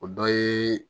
O dɔ ye